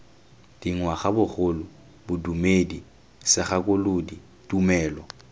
dingwaga bogole bodumedi segakolodi tumelo